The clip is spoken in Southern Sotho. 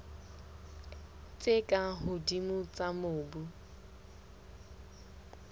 tse ka hodimo tsa mobu